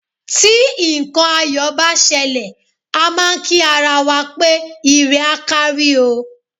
Tí nǹkan ayọ̀ bá ṣẹlẹ̀, a máà ń kí ara wa pé ire á kárí o.